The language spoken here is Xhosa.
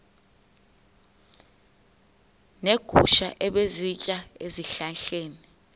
neegusha ebezisitya ezihlahleni